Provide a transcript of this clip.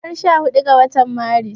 Ranar sha hudu ga watan Maris